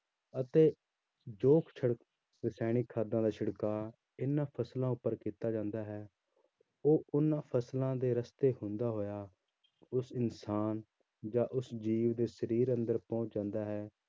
ਅਤੇ ਜੋ ਛਿੜਕ ਰਸਾਇਣਿਕ ਖਾਦਾਂ ਦਾ ਛਿੜਕਾ ਇਹਨਾਂ ਫ਼ਸਲਾਂ ਉੱਪਰ ਕੀਤਾ ਜਾਂਦਾ ਹੈ, ਉਹ ਉਹਨਾਂ ਫ਼ਸਲਾਂ ਦੇ ਰਸਤੇ ਹੁੰਦਾ ਹੋਇਆ, ਉਸ ਇਨਸਾਨ ਜਾਂ ਉਸ ਜੀਵ ਦੇ ਸਰੀਰ ਅੰਦਰ ਪਹੁੰਚ ਜਾਂਦਾ ਹੈ।